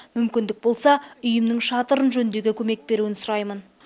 мүмкіндік болса үйімнің шатырын жөндеуге көмек беруін сұраймын